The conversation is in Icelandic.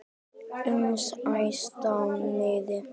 uns að æðsta miði